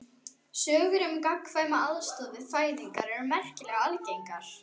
Sögur um gagnkvæma aðstoð við fæðingar eru merkilega algengar.